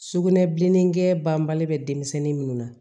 Sugunɛbilennin kɛ banbali bɛ denmisɛnnin minnu na